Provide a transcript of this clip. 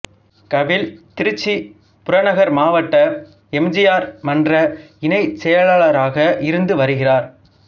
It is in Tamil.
கவில் திருச்சி புறநகர் மாவட்ட எம் ஜி ஆர் மன்ற இணைச் செயலாளராக இருந்து வருகிறார்